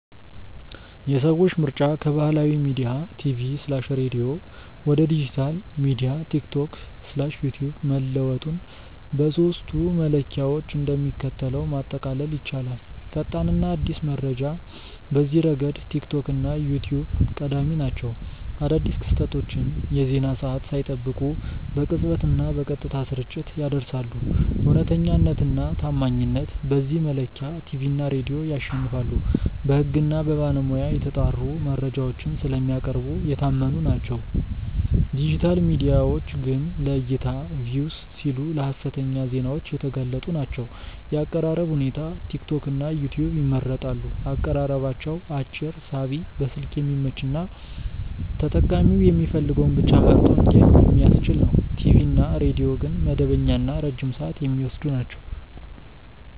የሰዎች ምርጫ ከባህላዊ ሚዲያ (ቲቪ/ሬዲዮ) ወደ ዲጂታል ሚዲያ (ቲክቶክ/ዩትዩብ) መለወጡን በሦስቱ መለኪያዎች እንደሚከተለው ማጠቃለል ይቻላል፦ ፈጣንና አዲስ መረጃ፦ በዚህ ረገድ ቲክቶክ እና ዩትዩብ ቀዳሚ ናቸው። አዳዲስ ክስተቶችን የዜና ሰዓት ሳይጠብቁ በቅጽበትና በቀጥታ ስርጭት ያደርሳሉ። እውነተኛነትና ታማኝነት፦ በዚህ መለኪያ ቲቪ እና ሬዲዮ ያሸንፋሉ። በሕግና በባለሙያ የተጣሩ መረጃዎችን ስለሚያቀርቡ የታመኑ ናቸው፤ ዲጂታል ሚዲያዎች ግን ለዕይታ (Views) ሲሉ ለሀሰተኛ ዜናዎች የተጋለጡ ናቸው። የአቀራረብ ሁኔታ፦ ቲክቶክና ዩትዩብ ይመረጣሉ። አቀራረባቸው አጭር፣ ሳቢ፣ በስልክ የሚመች እና ተጠቃሚው የሚፈልገውን ብቻ መርጦ እንዲያይ የሚያስችል ነው። ቲቪ እና ሬዲዮ ግን መደበኛና ረጅም ሰዓት የሚወስዱ ናቸው።